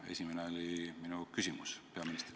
Esimene oli minu põhiküsimus peaministrile.